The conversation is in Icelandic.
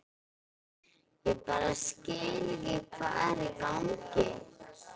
Ég bara skil ekki hvað er í gangi.